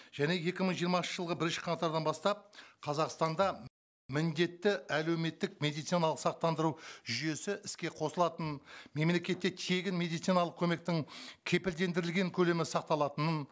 және екі мың жиырмасыншы жылғы бірінші қаңтардан бастап қазақстанда міндетті әлеуметтік медициналық сақтандыру жүйесі іске қосылатынын мемлекетте тегін медициналық көмектің кепілдендірілген көлемі сақталатынын